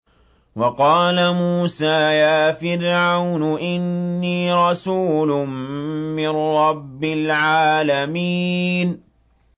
وَقَالَ مُوسَىٰ يَا فِرْعَوْنُ إِنِّي رَسُولٌ مِّن رَّبِّ الْعَالَمِينَ